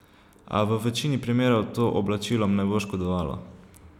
A v večini primerov to oblačilom ne bo škodovalo.